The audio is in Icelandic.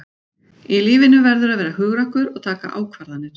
Í lífinu verðurðu að vera hugrakkur og taka ákvarðanir.